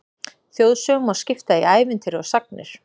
Þjóðsögum má skipta í ævintýri og sagnir.